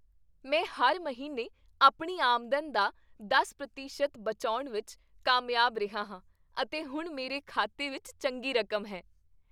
ਮੈਂ ਹਰ ਮਹੀਨੇ ਆਪਣੀ ਆਮਦਨ ਦਾ ਦਸ ਪ੍ਰਤੀਸ਼ਤ ਬਚਾਉਣ ਵਿੱਚ ਕਾਮਯਾਬ ਰਿਹਾ ਹਾਂ ਅਤੇ ਹੁਣ ਮੇਰੇ ਖਾਤੇ ਵਿੱਚ ਚੰਗੀ ਰਕਮ ਹੈ